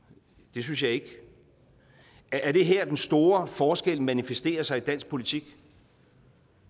det synes jeg ikke er det her den store forskel manifesterer sig i dansk politik